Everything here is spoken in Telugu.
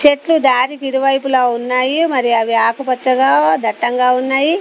చెట్లు దారికి ఇరువైపులా ఉన్నాయి మరి అవి ఆకుపచ్చగా దట్టంగా ఉన్నాయి.